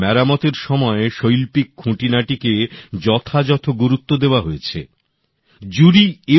মেরামতের সময় শৈল্পিক খুঁটিনাটি কে যথাযথ গুরুত্ব দেওয়া হয়েছে বলে জুরির মত ছিল